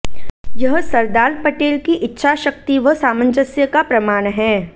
यह सरदार पटेल की इच्छाशक्ति व सामंजस्य का प्रमाण है